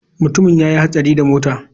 Mutumin ya yi hatsari da mota.